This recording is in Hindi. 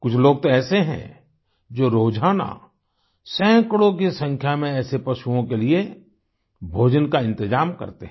कुछ लोग तो ऐसे हैं जो रोजाना सैकड़ों की संख्या में ऐसे पशुओं के लिए भोजन का इंतजाम करते हैं